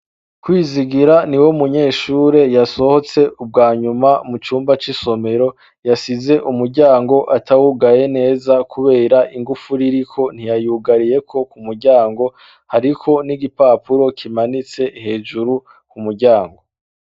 Kwizigira niwo munyeshure yasohotse ubwanyuma mu cumba c'isomero yasize umuryango atawugaye neza kubera ingufu ririko ntiya yugariyeko ku muryango hariko n'igipapuro kimanitse hejuru ku muryango.